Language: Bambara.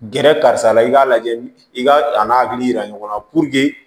Gɛrɛ karisa la i k'a lajɛ i ka a n'a hakili yira ɲɔgɔn na